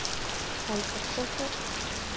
Holger Koefoed